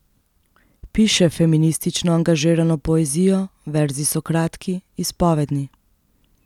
Piše feministično angažirano poezijo, verzi so kratki, izpovedni.